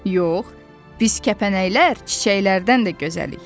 Yox, biz kəpənəklər çiçəklərdən də gözəlik.